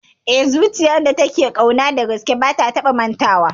Eh, zuciyar da take ƙauna dagaske ba ta taba mantawa